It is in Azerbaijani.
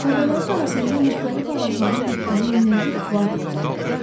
Təpələrin arasında müxtəlif ağacların bitdiyi münbit vadi uzanıb gedirdi.